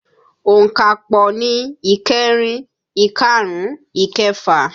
Onkapo ni ìkẹrin, ikarun, ikefa